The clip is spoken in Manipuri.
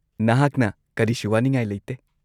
-ꯅꯍꯥꯛꯅ ꯀꯔꯤꯁꯨ ꯋꯥꯅꯤꯡꯉꯥꯏ ꯂꯩꯇꯦ ꯫